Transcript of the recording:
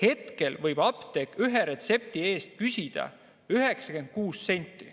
Apteek võib ühe retsepti eest küsida 96 senti.